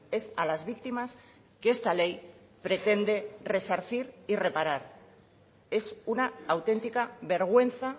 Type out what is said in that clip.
es a las víctimas que esta ley pretende resarcir y reparar es una auténtica vergüenza